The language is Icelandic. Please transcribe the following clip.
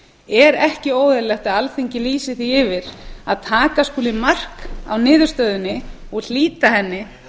er ekki óeðlilegt að alþingi lýsi því yfir að taka skuli mark á niðurstöðunni og hlíta henni